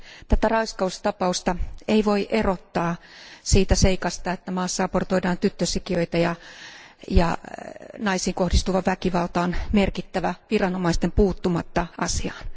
Tätä raiskaustapausta ei voi erottaa siitä seikasta, että maassa abortoidaan tyttösikiöitä ja naisiin kohdistuva väkivalta on merkittävää viranomaisten puuttumatta asiaan.